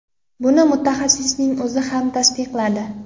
Buni mutaxassisning o‘zi ham tasdiqladi.